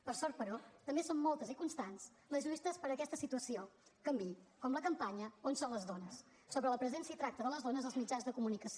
per sort però també són moltes i constants les lluites perquè aquesta situació canviï com la campanya on són les dones sobre la presència i tracte de les dones als mitjans de comunicació